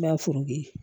N m'a foto ye